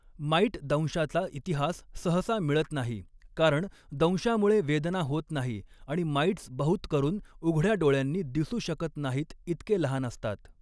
Might दंशाचा इतिहास सहसा मिळत नाही, कारण दंशामुळे वेदना होत नाही आणि माइट्स बहुतकरून उघड्या डोळ्यांनी दिसू शकत नाहीत इतके लहान असतात.